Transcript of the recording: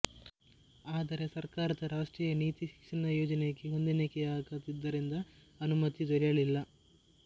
ಆದರೆ ಸರಕಾರದ ರಾಷ್ಟ್ರೀಯ ನೀತಿ ಶಿಕ್ಷಣ ಯೋಜನೆಗೆ ಹೊಂದಾಣಿಕೆಯಾಗದಿದ್ದರಿಂದ ಅನುಮತಿ ದೊರೆಯಲಿಲ್ಲ